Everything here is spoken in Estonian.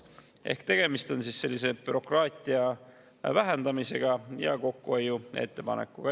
Ehk siis tegemist on sellise bürokraatia vähendamise ja kokkuhoiu ettepanekuga.